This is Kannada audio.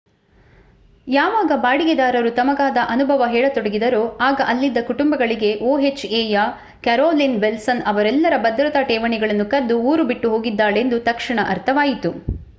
ಯಾವಾಗ ಬಾಡಿಗೆದಾರರು ತಮಗಾದ ಅನುಭವ ಹೇಳತೊಡಗಿದರೋ ಆಗ ಅಲ್ಲಿದ್ದ ಕುಟುಂಬಗಳಿಗೆ ohaಯ ಕ್ಯಾರೋಲೀನ್ ವಿಲ್ಸನ್ ಅವರೆಲ್ಲರ ಭದ್ರತಾ ಠೇವಣಿಗಳನ್ನು ಕದ್ದು ಊರು ಬಿಟ್ಟು ಹೋಗಿದ್ದಾಳೆಂದು ತಕ್ಷಣ ಅರ್ಥವಾಯಿತು